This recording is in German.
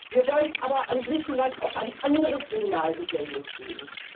Wir wollen aber an Griechenland auch ein anderes Signal gesendet sehen.